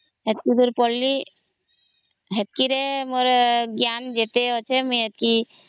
ଯେତିକି ଯାଏ ପଢ଼ିଲି ସେତିକି ରେ ମୋର ଜ୍ଞାନ ଏତେ ଅଛି ମୁଇ ଏତିକି